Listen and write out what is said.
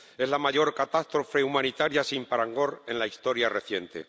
Es la mayor catástrofe humanitaria, sin parangón en la historia reciente.